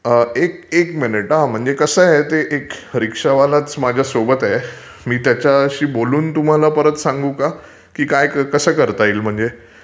एक एक मिनिट हा, म्हणजे कसं आहे ते एक रिक्षावालाचं माझ्यासोबत आहे, मी त्याच्यशी बोलून तुम्हाला परत सांगू का, की काय कसं करता येईल म्हणजे?